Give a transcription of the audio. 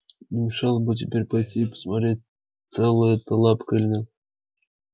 не мешало бы теперь пойти и посмотреть цела эта лапка или нет